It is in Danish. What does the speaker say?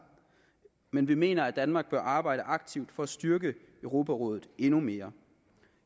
men vi mener at danmark bør arbejde aktivt for at styrke europarådet endnu mere